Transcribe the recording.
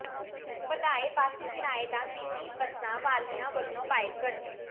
ਵਧਾਏ ਬੱਸ ਕਿਰਾਏ ਦਾ ਮਿਨੀ ਬੱਸਾਂ ਵਾਲਿਆਂ ਵੱਲੋਂ ਬਾਈਕਾਟ